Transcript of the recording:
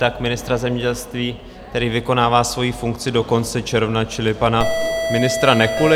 Tak ministra zemědělství, který vykonává svoji funkci do konce června, čili pana ministra Nekuly.